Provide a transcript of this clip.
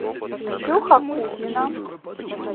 ксюха кузина